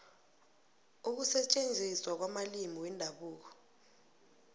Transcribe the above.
ukusetjenziswa kwamalimi wendabuko